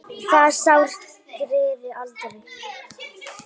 Það sár greri aldrei.